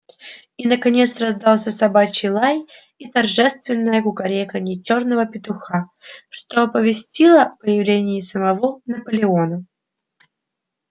и наконец раздался собачий лай и торжественное кукареканье чёрного петуха что оповестило о появлении самого наполеона